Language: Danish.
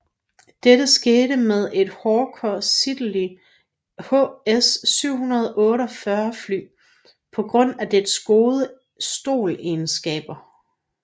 Dette skete med et Hawker Siddeley HS 748 fly på grund af dets gode STOL egenskaber